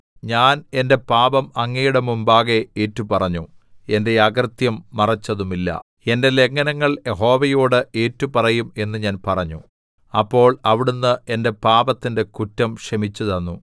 ഞാൻ എന്റെ പാപം അങ്ങയുടെ മുമ്പാകെ ഏറ്റുപറഞ്ഞു എന്റെ അകൃത്യം മറച്ചതുമില്ല എന്റെ ലംഘനങ്ങൾ യഹോവയോട് ഏറ്റുപറയും എന്ന് ഞാൻ പറഞ്ഞു അപ്പോൾ അവിടുന്ന് എന്റെ പാപത്തിന്റെ കുറ്റം ക്ഷമിച്ചുതന്നു സേലാ